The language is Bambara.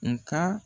Nga